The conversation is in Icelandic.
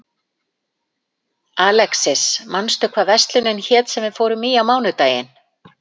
Uppblástur hefst gjarnan við bakka farvega sem myndast hafa við úrfelli eða snjóleysingar.